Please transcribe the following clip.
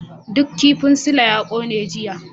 Duk kifin Sule ya kone jiya.